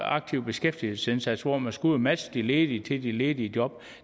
aktive beskæftigelsesindsats hvor man skal ud og matche de ledige til de ledige job